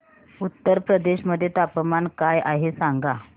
उत्तर प्रदेश मध्ये तापमान काय आहे सांगा